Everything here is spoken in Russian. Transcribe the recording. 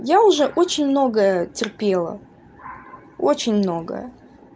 я уже очень многое терпела очень многое